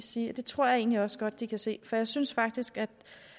sige at det tror jeg egentlig også godt at de kan se for jeg synes faktisk at